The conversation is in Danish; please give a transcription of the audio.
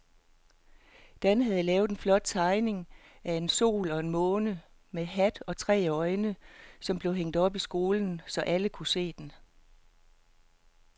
Dan havde lavet en flot tegning af en sol og en måne med hat og tre øjne, som blev hængt op i skolen, så alle kunne se den.